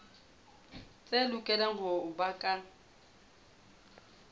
tse lokelang ho ba ka